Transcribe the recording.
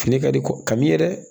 Fini ka di ko ka min yɛrɛ